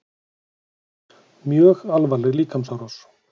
Mjög alvarleg líkamsárás